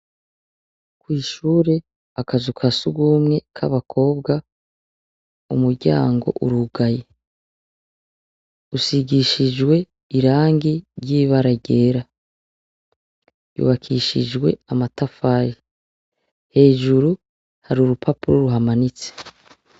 Kw'ishure, akazu ka sugumwe k'abakobwa umuryango urugaye. Usigishijwe irangi ry'ibara ryera. Yubakishijwe amatafari, hejuru ahari urupapuro ruhamanitse.